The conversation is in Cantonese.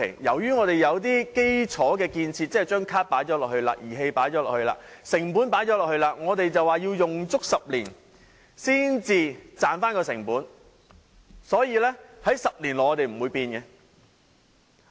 由於我們已經有了基礎建設，即已經購置卡、儀器和投入成本，因此我們便說要用足10年才能抵銷成本，所以在10年內也不會作出改變。